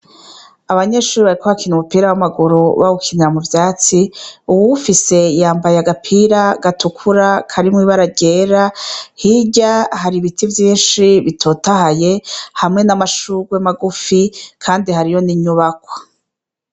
Abanyeshure bariko bakina umupira w'amaguru bawukinira mu vyatsi; uwuwuwfise yambaye agapira gatukura, karimwo ibara ryera. Hirya hari ibiti vyinshi bitotahaye, hamwe n'amashurwe magufi; kandi hariyo n'inyubakwa.